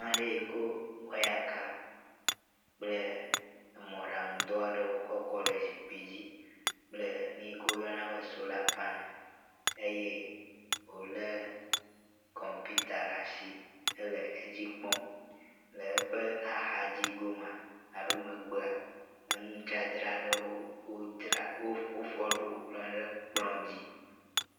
Ameɖee ko wɔyaka kple emɔɖaŋu dɔ aɖe kɔ kɔ ɖe zikpui dzi kple nuyike woyɔna be sola panel eye wo le kɔmpita ɖe asi edzikpɔm eye wo le eƒe axadzi gomea alo megbea enudzadzra aɖe wodzra wo wofɔ ɖo kplɔe ɖe kplɔ dzi.